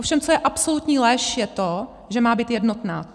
Ovšem co je absolutní lež, je to, že má být jednotná.